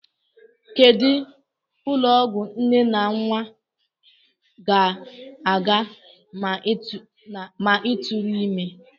Kedụ ụlọọgwụ nne na nnwa I ga-aga ma ị tụrụ ime?